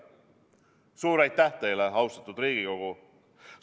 Suur aitäh teile, austatud Riigikogu!